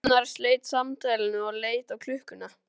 Gunnar sleit samtalinu og leit á klukkuna.